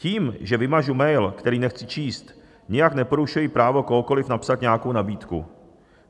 Tím, že vymažu mail, který nechci číst, nijak neporušuji právo kohokoliv napsat nějakou nabídku.